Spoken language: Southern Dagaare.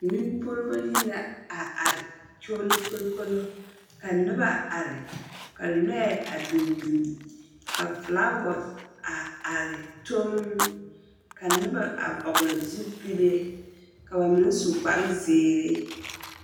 Ŋmempuoribo yiri la a are kyogilokolokolo ka noba are, ka lͻԑ a biŋ biŋ ka filaawa a are tol. Ka nobͻ a vͻgele zupile, ka ba meŋ su kpare zeere.